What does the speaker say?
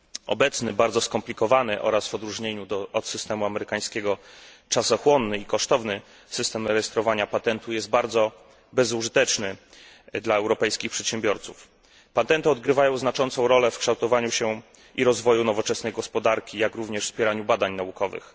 Obecny bardzo skomplikowany oraz w odróżnieniu od systemu amerykańskiego czasochłonny i kosztowny system rejestrowania patentu jest bardzo bezużyteczny dla europejskich przedsiębiorców. Patenty odgrywają znaczącą rolę w kształtowaniu się i rozwoju nowoczesnej gospodarki jak również w wspieraniu badań naukowych.